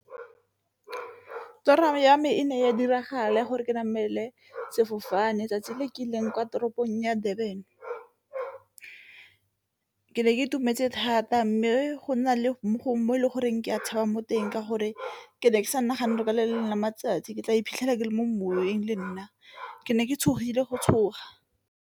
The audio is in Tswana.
Toro ya me e ne ya diragala gore ke namele sefofane 'tsatsi le ke ileng kwa toropong ya Durban. Ke ne ke itumetse thata, mme go na le mo e leng goreng ke a tshaba mo teng ka gore ke ne ke sa nagane gore ka le lengwe la matsatsi ke tla iphitlhela ke le mo moweng le nna ke ne ke tshogile go tshoga.